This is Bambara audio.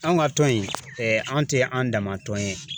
An ka tɔn in an tɛ an dama tɔn ye.